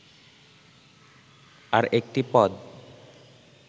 "আর একটি পদ